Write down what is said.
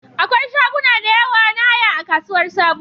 Akwai shaguna da yawa na haya a Kasuwar Sabo